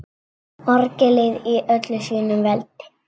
Orgelið í öllu sínu veldi.